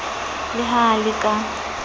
le ha a le ka